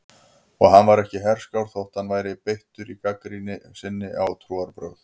Og hann var ekki herskár þótt hann væri beittur í gagnrýni sinni á trúarbrögð.